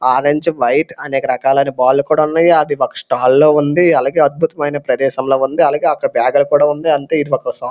orange white అనేక రకాలైన ball లు కూడా ఉన్నాయి అది ఒక స్టాల్ ల ఉంది అలగే అద్భుతమైన ప్రదేశం లాగుంది అలగే అక్కడ బేగు లు కూడా ఉంది అంతే ఇది ఒక సా--